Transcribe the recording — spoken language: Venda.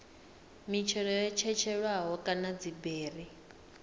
mitshelo yo tshetshelelwaho kana dziberi